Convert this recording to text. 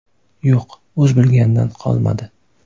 Yo‘q, o‘z bilganidan qolmadi.